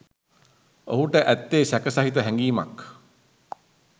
ඔහුට ඇත්තේ සැක සහිත හැඟීමක්.